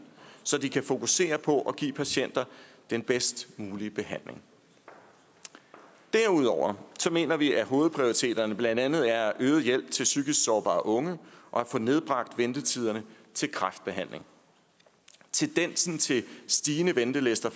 så de kan fokusere på at give patienterne den bedst mulige behandling derudover mener vi at hovedprioriteterne blandt andet er at øge hjælpen til psykisk sårbare unge og at få nedbragt ventetiderne til kræftbehandling tendensen til stigende ventelister